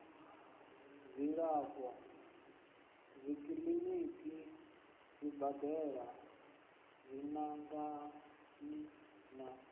dzilafho dzikiḽiniki zwibadela dziṅangani na